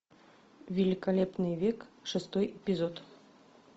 великолепный век шестой эпизод